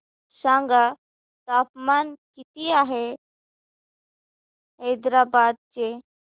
सांगा तापमान किती आहे हैदराबाद चे